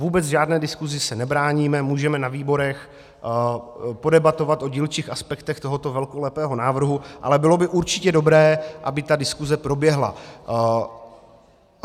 Vůbec žádné diskusi se nebráníme, můžeme na výborech podebatovat o dílčích aspektech tohoto velkolepého návrhu, ale bylo by určitě dobré, aby ta diskuse proběhla.